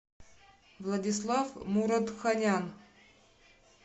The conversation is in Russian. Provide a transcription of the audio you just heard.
владислав муратханян